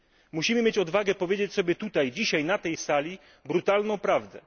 Musimy mieć odwagę powiedzieć sobie tutaj dzisiaj na tej sali brutalną prawdę.